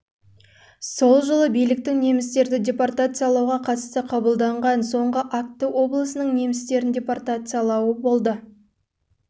жылы биліктің немістерді депортациялауға қатысты қабылдаған соңғы акті облысының немістерін депортациялау болды